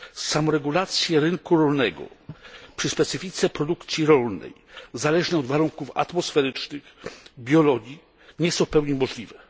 Samoregulacje rynku rolnego przy specyfice produkcji rolnej zależnej od warunków atmosferycznych czy biologii nie są w pełni możliwe.